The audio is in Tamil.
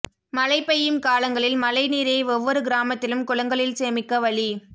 மழை பெய்யும் காலங்களில் மழை நீரை ஒவ்வொரு கிராமத்திலும் குளங்களில் சேமிக்க வழி